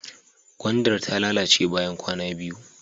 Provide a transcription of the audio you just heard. Gwandar ta lalace bayan kwana biyu.